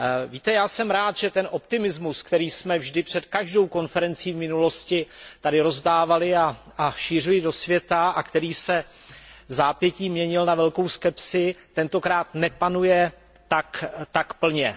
Víte, já jsem rád, že ten optimismus, který jsme vždy před každou konferencí v minulosti tady rozdávali a šířili do světa a který se vzápětí měnil na velkou skepsi, tentokrát nepanuje tak plně.